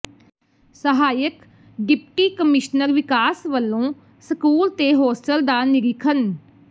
ਸਹਾਇਕ deputy commissioner ਵਿਕਾਸ ਵੱਲੋਂ ਸਕੂਲ ਤੇ ਹੋਸਟਲ ਦਾ ਨਿਰੀਖਣ